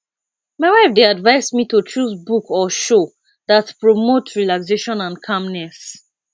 my wife dey advise me to choose book or show that promote relaxation and calmness